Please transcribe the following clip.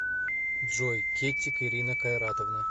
джой кеттик ирина кайратовна